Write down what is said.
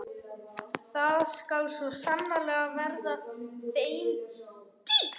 Það skal svo sannarlega verða þeim dýrt!